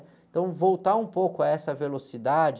Então, voltar um pouco a essa velocidade...